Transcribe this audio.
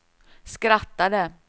skrattade